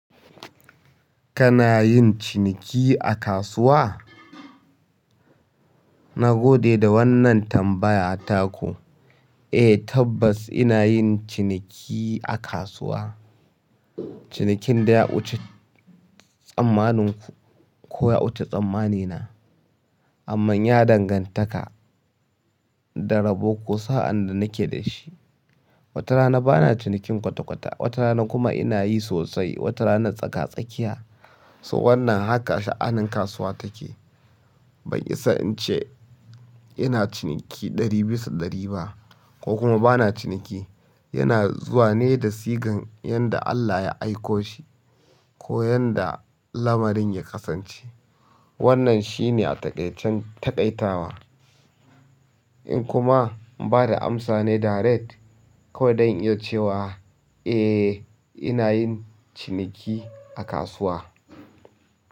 Kana yin ciniki a kasuwa? Na gode da wannan tambaya taku. Eh, tabbas ina yin ciniki a kasuwa. Cinikin da ya wuce tsammanin ku ko ya wuce tsammani na, amma ya dangantaka da rabo ko sa'an da nake da shi. Wata rana bana cinikin kwata kwata, wata rana kuma ina yi sosai, wata rana tsaka tsakiya. So wannan haka sha'anin kasuwa take. Ban isa in ce ina ciniki ɗari bisa ɗari ba ko kuma bana ciniki. Yana zuwa ne da sigan yanda Allah ya siko shi ko yanda lamarin yakasance. Wannan shine a taƙaicen taƙaitawa. In kuma ba da amsa ne direct kawai don in ce wa, eh, ina yin ciniki a kasuwa.